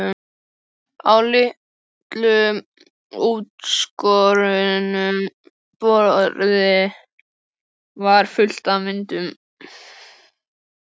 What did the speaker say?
Á litlu útskornu borði var fullt af myndum.